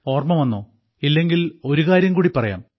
ഓർമ്മ വന്നോ ഇല്ലെങ്കിൽ ഒരുകാര്യം കൂടി പറയാം